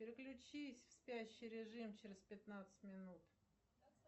переключись в спящий режим через пятнадцать минут